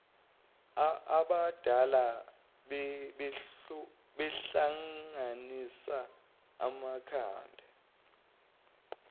abadala bahlanganisa amakhanda